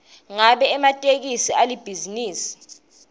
ngabe ematekisi alibhizinisi